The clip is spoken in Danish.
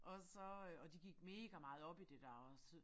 Og så øh og de gik megameget op i det der også